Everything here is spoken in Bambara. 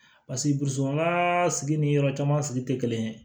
sigi ni yɔrɔ caman sigi tɛ kelen ye